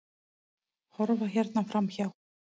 Horfa hérna framhjá!